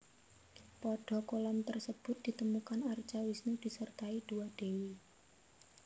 Pada kolam tersebut ditemukan arca Wisnu disertai dua dewi